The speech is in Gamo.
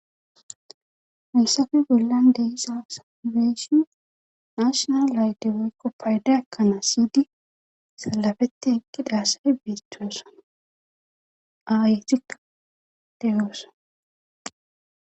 haysafe bollan deisa saneeshion nashonal layte woykko paydaakkanaa siydi salafetti ekkidasay beetoeson ayetikka deyoosona